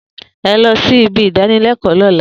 E lọ sí ibi idanilẹkọ lóla